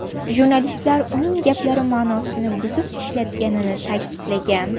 Jurnalistlar uning gaplari ma’nosini buzib ishlatganini ta’kidlagan.